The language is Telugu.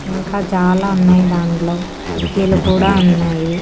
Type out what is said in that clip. ఇంకా చాలా ఉన్నాయి దాంట్లో కిటికీలు కూడా ఉన్నాయి.